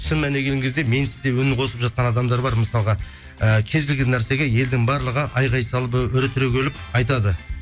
шын мәніне келген кезде менсіз де үн қосып жатқан адамдар бар мысалға ііі кез келген нәрсеге елдің барлығы айқай салып і үре түрегеліп айтады